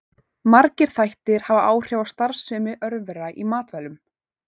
Margir þættir hafa áhrif á starfsemi örvera í matvælum.